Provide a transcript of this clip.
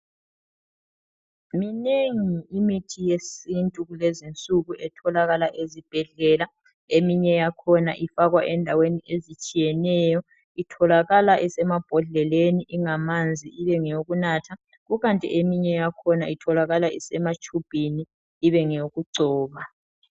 Minengi imithi yesintu kulezinsuku etholakala ezibhedlela. Eminye yakhona ifakwa endaweni ezitshiyeneyo, itholakala esemambodleleni ingamanzi ibengeyokunatha, kukanti eminye yakhona itholakala esematshubhini ibengeyokugcoba.